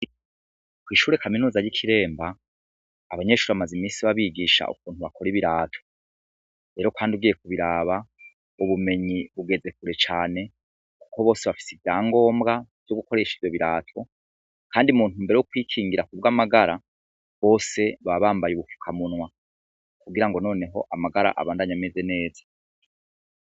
Kw'ishure kaminuza y'i Kiremba abanyeshure bamaze imisi babigisha ukuntu bakora ibirato .Rero kandi ugiye kubiraba ubumenyi bugeze kure cane kuko bose bafise ivyangombwa vyo gukoresha ivyo birato ,kandi mu ntumbero yo kwikingira kubw'amagara bose baba bambaye ubufukamunwa kugira ngo noneho amagara abandanye ameze neza.